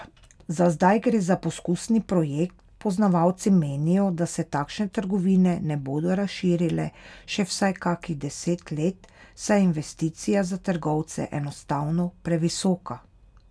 Za zdaj gre za poskusni projekt, poznavalci menijo, da se takšne trgovine ne bodo razširile še vsaj kakih deset let, saj je investicija za trgovce enostavno previsoka.